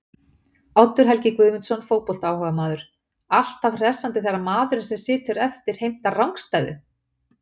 Oddur Helgi Guðmundsson fótboltaáhugamaður: Alltaf hressandi þegar maðurinn sem situr eftir heimtar rangstæðu!!